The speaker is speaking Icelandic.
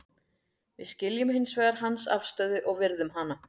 Við skiljum hins vegar hans afstöðu og virðum hana.